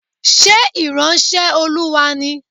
Ṣé ìránṣẹ́ Olúwa ni?